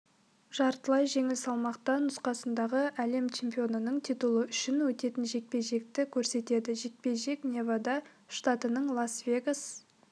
жартылай жеңіл салмақта нұсқасындағы әлем чемпионының титулы үшін өтетін жекпе-жекті көрсетеді жекпе-жек невада штатының лас-вегас